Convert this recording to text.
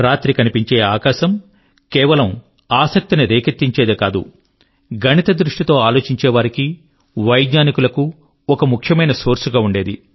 రాత్రి కనిపించే ఆకాశం కేవలం ఆసక్తి ని రేకెత్తించేదే కాదు గణిత దృష్టి తో ఆలోచించేవారికి వైజ్ఞానికుల కు ఒక ముఖ్యమైన సోర్స్ గా ఉండేది